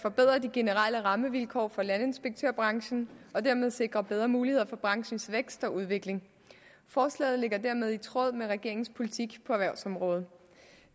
forbedre de generelle rammevilkår for landinspektørbranchen og dermed sikre bedre muligheder for branchens vækst og udvikling forslaget ligger dermed i tråd med regeringens politik på erhvervsområdet